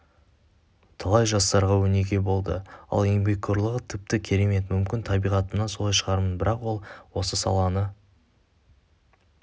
талай жастарға өнеге болды ал еңбекқорлығы тіпті керемет мүмкін табиғатымнан солай шығармын бірақ ол осы саланы